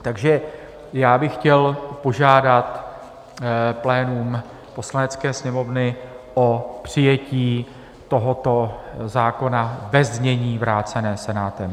Takže já bych chtěl požádat plénum Poslanecké sněmovny o přijetí tohoto zákona ve znění vráceném Senátem.